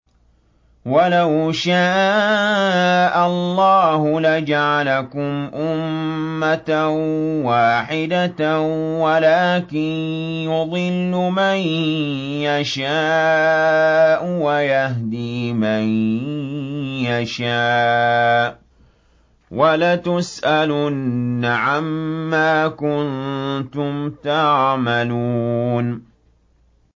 وَلَوْ شَاءَ اللَّهُ لَجَعَلَكُمْ أُمَّةً وَاحِدَةً وَلَٰكِن يُضِلُّ مَن يَشَاءُ وَيَهْدِي مَن يَشَاءُ ۚ وَلَتُسْأَلُنَّ عَمَّا كُنتُمْ تَعْمَلُونَ